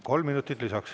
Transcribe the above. Kolm minutit lisaks.